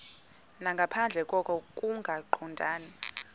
nangaphandle koko kungaqondani